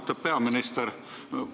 Austatud peaminister!